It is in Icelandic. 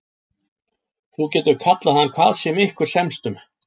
Þú getur kallað hann hvað sem ykkur semst um.